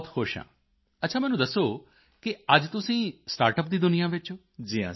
ਮੈਂ ਬਹੁਤ ਖੁਸ਼ ਹਾਂ ਅੱਛਾ ਮੈਨੂੰ ਦੱਸੋ ਕਿ ਅੱਜ ਤੁਸੀਂ ਸਟਾਰਟਅਪ ਦੀ ਦੁਨੀਆ ਵਿੱਚ ਹੋ